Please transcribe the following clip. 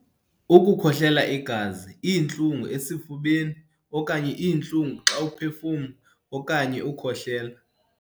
Ukukhohlela igazi, iintlungu esifubeni, okanye iintlungu xa uphefumla okanye ukhohlela.